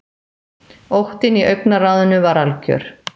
Óttinn í augnaráðinu var algjör.